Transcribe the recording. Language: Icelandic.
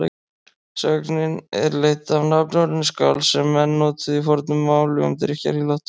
Sögnin er leidd af nafnorðinu skál sem menn notuðu í fornu máli um drykkjarílát.